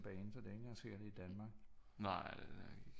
En bane så det er jo ikke engang sikkert at det er i Danmark